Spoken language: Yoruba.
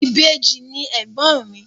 Ìbejì ni ègbọ́n mi.